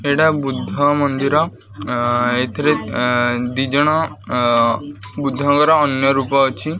ଏଇଟା ବୁଦ୍ଧ ମନ୍ଦିର ଅଁ ଏଥିରେ ଦିଜଣ ଅଁ ବୁଦ୍ଧଙ୍କର ଅନ୍ୟ ରୂପ ଅଛି।